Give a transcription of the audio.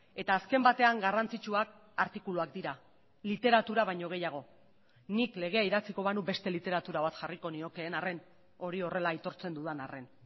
eta azken batean garrantzitsuak artikuluak dira literatura baino gehiago nik legea idatziko banu beste literatura bat jarriko niokeen arren hori horrela aitortzen dudan arren